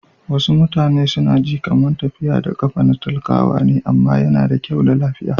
Wasu mutane su na ji kaman tafiya da kafa na talakawa ne amma ya na da kyau ma lafiya.